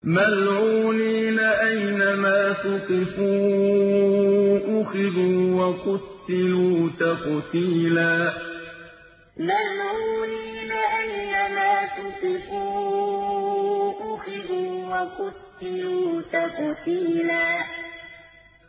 مَّلْعُونِينَ ۖ أَيْنَمَا ثُقِفُوا أُخِذُوا وَقُتِّلُوا تَقْتِيلًا مَّلْعُونِينَ ۖ أَيْنَمَا ثُقِفُوا أُخِذُوا وَقُتِّلُوا تَقْتِيلًا